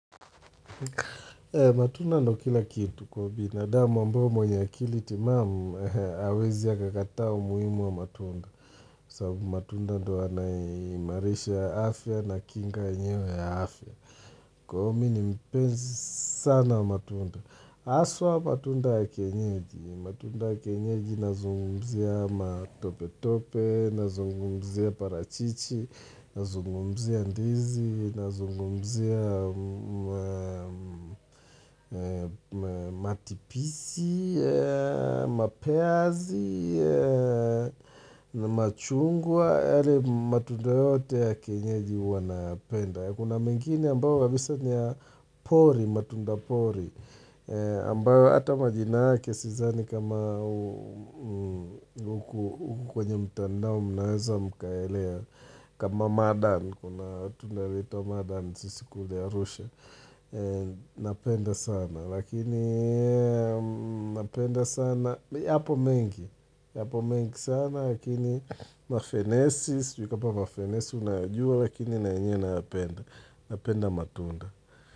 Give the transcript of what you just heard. Matunda ndio kila kitu kwa ubinadamu ambao mwenye akili timamu hawezi akakataa umuhimu wa matunda. Sababu matunda ndio yanaimarisha afya na kinga enyewe ya afya. Kwa hivyo mimi ni mpenzi sana wa matunda. Haswa matunda ya kienyeji. Matunda ya kienyeji nazungumzia matopetope, nazungumzia parachichi, nazungumzia ndizi, nazungumzia matipisi, mapeazi na machungwa, yaani matunda yote ya kienyeji huwa napenda. Kuna mengini ambayo wabisa niya pori, matunda pori, ambayo hata majina yake sidhani kama huku kwenye mtandao mnaweza mkaelea, kama madani, kuna tunerito madani, sisi kule arusha Napenda sana, lakini napenda sana yapo mengi, yapo mengi sana lakini Mafenesis, yukapa mafenesis, unajua lakini nanyena napenda Napenda matunda.